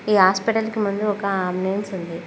ఈ హాస్పిటల్ కి మందు ఒక ఆమ్ నేమ్స్ ఉంది.